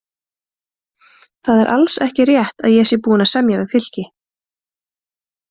Það er alls ekki rétt að ég sé búinn að semja við Fylki.